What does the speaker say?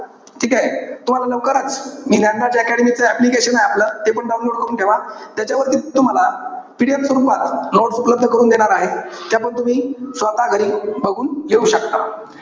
ठीकेय? तुम्हाला लवकरच मी ज्ञानराज अकॅडमि च application आहे आपलं. तेपण download करून ठेवा. त्याच्यावरती तुम्हाला PDF स्वरूपात notes उपलब्ध करून देणार आहे. त्यापण तुम्ही स्वतः घरी बघून घेऊ शकता.